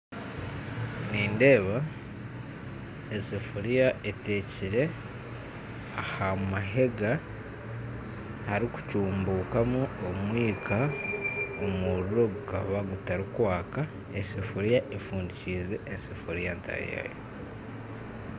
Nindeeba esefuriya etekere aha mahega aharikucumbukamu omwika omuriro gukaba gutarikwaka esafuriya efundikize esefuriya ntaahi yaayo